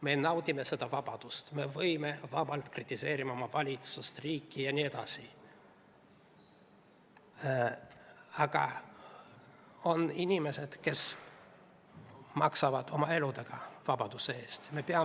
Me naudime oma vabadust, võime vabalt kritiseerida oma valitsust ja riiki, aga on inimesed, kes maksavad vabaduse eest eluga.